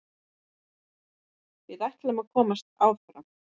Við ætlum að komast áfram.